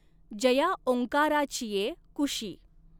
जया ॐकाराचिये कुशी।